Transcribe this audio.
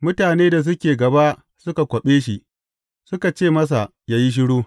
Mutane da suke gaba suka kwaɓe shi, suka ce masa ya yi shiru.